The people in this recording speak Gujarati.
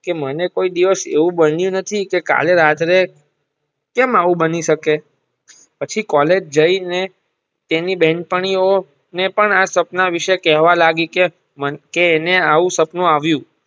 કે મને કોઈ દિવશ એવું બનીયુ નથી કે કાલે રાત્રે કેમ આવું બની શકે પછી કૉલેજ જય ને તેની બેન પણી ઓ ને પણ આ સપન વિષે કેવા લાગયી કે મને કે એને આવું સપનું આવ્યુ.